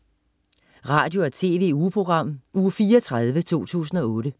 Radio- og TV-ugeprogram Uge 34, 2008